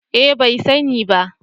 Eh bai sani ba